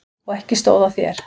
Og ekki stóð á þér.